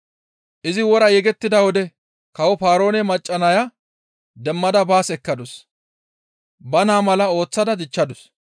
Izi wora yegettida wode kawo Paaroone macca naya demmada baas ekkadus; ba naa mala ooththada dichchadus.